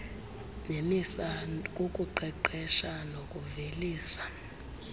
nemisa kukuqeqesha nokuvelisa